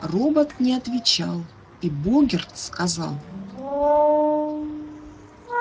робот не отвечал и богерт сказал